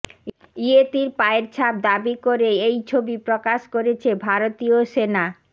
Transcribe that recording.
ইয়েতির পায়ের ছাপ দাবি করে এই ছবি প্রকাশ করেছে ভারতীয় সেনা